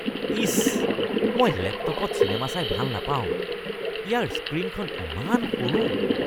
ইচ। মই লেপটপত চিনেমা চাই ভাল নাপাওঁ। ইয়াৰ স্ক্ৰীনখন ইমান সৰু।